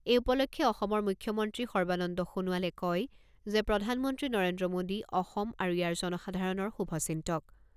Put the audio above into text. এই উপলক্ষে অসমৰ মুখ্যমন্ত্ৰী সৰ্বানন্দ সোণোৱালে কয় যে প্ৰধানমন্ত্ৰী নৰেন্দ্ৰ মোদী অসম আৰু ইয়াৰ জনসাধাৰণৰ শুভ চিন্তক।